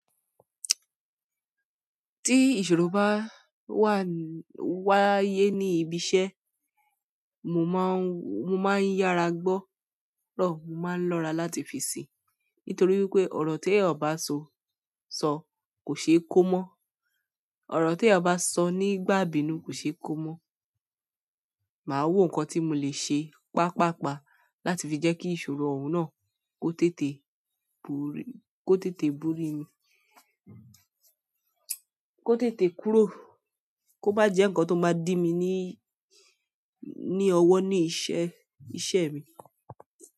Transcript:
Tí ìṣòro bá wà, wáyé ní ibi iṣẹ́, mo máa ń, mo máa ń yára gbọ́ ro, mo máa ń lọ́ra láti fi sí nítorí wípé ọ̀rọ̀ tí ẹ̀yàn bá sọ, sọ kò ṣe é kó mọ́. Ọ̀rọ̀ tí ẹyan bá sọ nígbà ìbínú kò ṣe é kó mọ́. Mà á wo nǹkan tí mo lè ṣe pàpàpá láti fi jẹ́ kí ìṣòro òun náà kó tètè búrí, kó tètè búrí mi, kó tètè kúrò, kó má jẹ́ ǹkan tó máa dí mi ní, ní ọwọ́ ní iṣẹ́, iṣẹ́ mi.